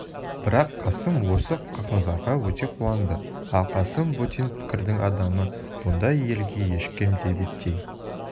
бірақ қасым осы хақназарға өте қуанды ал қасым бөтен пікірдің адамы бұндай елге ешкім де беттей